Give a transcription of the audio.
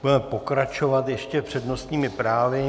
Budeme pokračovat ještě přednostními právy.